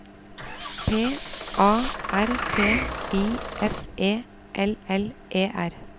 P A R T I F E L L E R